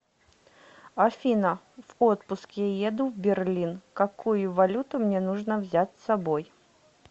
афина в отпуск я еду в берлин какую валюту мне нужно взять с собой